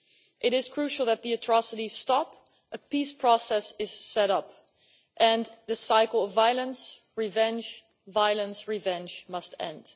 It is crucial that the atrocities stop, a peace process is set up, and this cycle of violence, revenge, violence, revenge, must end.